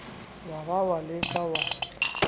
wa ba wa leka wa